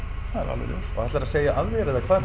það er alveg ljóst ætlarðu að segja af þér eða hvað